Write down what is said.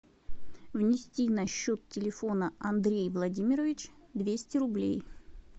внести на счет телефона андрей владимирович двести рублей